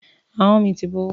Ahọ́n mi ti bó.